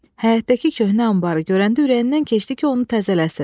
Həyətdəki köhnə anbarı görəndə ürəyindən keçdi ki, onu təzələsin.